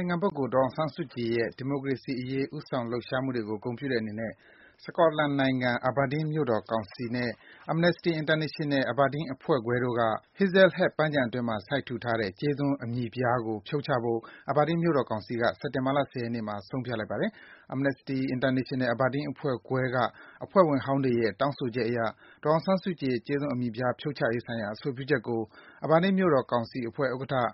င်ခံပုဂ္ဂိုလ် ဒေါ်အောင်ဆန်းစုကြည်ရဲ့ ဒီမိုကရေစီအရေး ဦးဆောင်လှုပ်ရှားမှုတွေကို ဂုဏ်ပြုတဲ့အနေနဲ့ Scotland နိုင်ငံ၊ Aberdeen မြို့တော်ကောင်စီနဲ့ Amnesty International – Aberdeen အဖွဲ့ခွဲတို့က Hazlehead ပန်းခြံအတွင်းမှာ စိုက်ထူထားတဲ့ ကြေးသွန်း အမည်ပြားကို ဖြုတ်ချဖို့ Aberdeen မြို့တော်ကောင်စီက စက်တင်ဘာလ ၁၀ ရက်နေ့မှာ ဆုံးဖြတ်လိုက်ပါတယ်။ Amnesty International – Aberdeen အဖွဲ့ခွဲက အဖွဲ့ဝင်ဟောင်းတွေရဲ့ တောင်းဆိုချက်အရ ဒေါ်အောင်ဆန်းစုကြည်ရဲ့ ကြေးသွန်း အမည်ပြား ဖြုတ်ချရေးဆိုင်ရာ အဆိုပြုချက်ကို Aberdeen မြို့တော်ကောင်စီအဖွဲ့ဥက္ကဋ္ဌ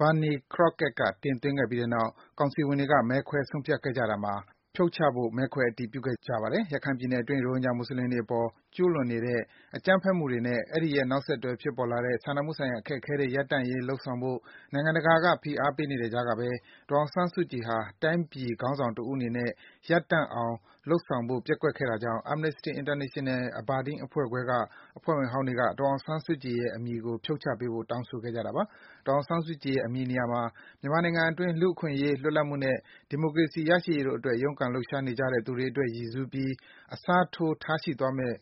Barney Crockett က တင်သွင်းခဲ့ပြီးနောက် ကောင်စီဝင်တွေက မဲခွဲ ဆုံးဖြတ်ခဲ့ကြတာမှာ ကောင်စီဝင်တွေက ဖြုတ်ချဖို့ မဲခွဲ အတည်ပြုခဲ့ကြတာပါ။ ရခိုင်ပြည်နယ်အတွင်း ရိုဟင်ဂျာ မွတ်ဆလင်တွေအပေါ် ကျူးလွန်နေတဲ့ အကြမ်းဖက်မှုတွေ အဲဒီရဲ့ နောက်ဆက်တွဲ ဖြစ်ပေါ်လာတဲ့ စာနာမှုဆိုင်ရာ အခက်အခဲတွေ ရပ်တန့်ရေး လုပ်ဆောင်ဖို့ နိုင်ငံတကာက ဖိအားပေးနေတဲ့ကြားကပဲ ဒေါ်အောင်ဆန်းစုကြည်ဟာ တိုင်းပြည် ခေါင်းဆောင်တဦးအနေနဲ့ ရပ်တန့်အောင် လုပ်ဆောင်ဖို့ ပျက်ကွက်ခဲ့တာကြောင့် Amnesty International – Aberdeen အဖွဲ့ခွဲက အဖွဲ့ဝင်ဟောင်းတွေက ဒေါ်အောင်ဆန်းစုကြည်ရဲ့ နာမည်ကို ဖြုတ်ချပေးဖို့ တောင်းဆိုခဲ့ကြတာပါ။ ဒေါ်အောင်ဆန်းစုကြည်ရဲ့ အမည်နေရာမှာ မြန်မာနိုင်ငံအတွင်း လူ့အခွင့်အရေး၊ လွတ်လပ်မှုနဲ့ ဒီမိုကရေစီ ရရှိရေးတို့အတွက် ရုန်းကန်လှုပ်ရှားနေကြတဲ့ သူတွေအတွက် ရည်ရွယ်စူးပြီး အစားထိုး ထားရှိသွားမယ့်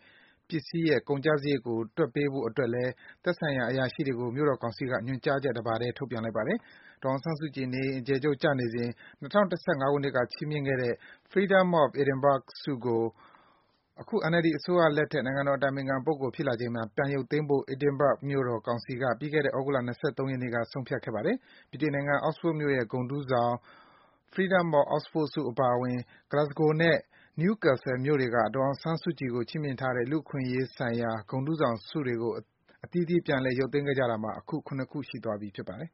ပစ္စည်းရဲ့ ကုန်ကျစားရိတ်ကို တွက်ပေးဖို့အတွက်လည်း သက်ဆိုင်ရာ အရာရှိတွေကို မြို့တော်ကောင်စီက ညွန်ကြားချက် တပါတည်း ထုတ်ပြန်လိုက်ပါတယ်။ ဒေါ်အောင်ဆန်းစုကြည် နေအိမ်အကျယ်ချုပ် ကျနေစဉ် ၂၀၀၅ ခုနှစ်က ချီးမြှင့်ခံခဲ့ရတဲ့ Freedom of Edinburgh ဆုကို အခု NLD အစိုးရလက်ထက် နိုင်ငံတော်အတိုင်ပင်ခံပုဂ္ဂိုလ် ဖြစ်လာချိန်မှာ ပြန်ရုပ်သိမ်းဖို့ Edinburgh မြို့တော်ကောင်စီက ပြီးခဲ့တဲ့ သြဂုတ်လ ၂၃ ရက်နေ့က ဆုံးဖြတ်ခဲ့ပါတယ်။ ဗြိတိန် နိုင်ငံ Oxford မြို့ရဲ့ ဂုဏ်ထူးဆောင် Freedom of Oxford ဆု အပါအဝင် Glasgow နဲ့ Newcastle မြို့တွေက ဒေါ်အောင်ဆန်းစုကြည် ကို ချီးမြှင့်ထားတဲ့ လူ့အခွင့်အရေးဆိုင်ရာ ဂုဏ်ထူးဆောင်ဆု တွေကို အသီးသီး ပြန်ရုပ်သိမ်းခဲ့ကြတာမှာ (၇) ရှိသွားပြီ ဖြစ်ပါတယ်